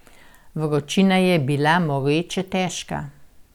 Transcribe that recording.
Vročina je bila moreče težka.